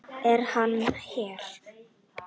Er hann hér?